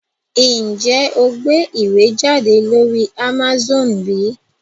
Njé o gbé ìwé jáde lórí Amazone bí?